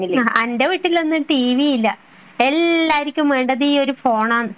എന്റെ വീട്ടിലൊന്നും ടീവി ഇല്ല . എല്ലാരിക്കും വേണ്ടത് ഫോണാണ്